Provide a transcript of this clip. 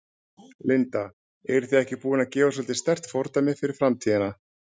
Linda: Eruð þið ekki búin að gefa svolítið sterkt fordæmi fyrir framtíðina?